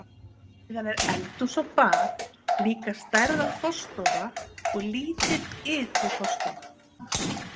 Síðan er eldhús og bað, líka stærðar forstofa og lítil ytri forstofa.